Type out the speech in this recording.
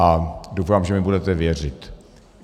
A doufám, že mi budete věřit.